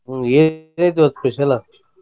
ಹ್ಮ ಏನ ಐತಿ ಇವತ್ತ special ಲಾ?